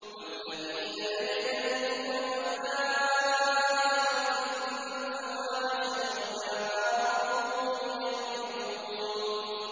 وَالَّذِينَ يَجْتَنِبُونَ كَبَائِرَ الْإِثْمِ وَالْفَوَاحِشَ وَإِذَا مَا غَضِبُوا هُمْ يَغْفِرُونَ